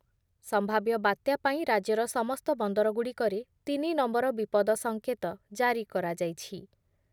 ସମ୍ଭାବ୍ୟ ବାତ୍ୟା ପାଇଁ ରାଜ୍ୟର ସମସ୍ତ ବନ୍ଦରଗୁଡ଼ିକରେ ତିନି ନମ୍ବର ବିପଦ ସଙ୍କେତ ଜାରି କରାଯାଇଛି ।